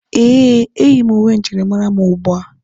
Eh, eyi m uwe njirimara mụ ugbua.